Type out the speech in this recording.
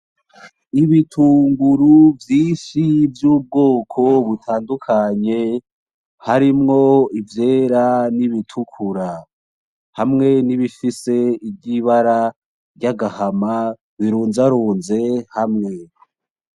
N,ibitunguru vyinshi vy'ubwoko butandukanye harimwo ivyera nibitukura hamwe nibifise ibara ry'agahama birunzarunze hamwe.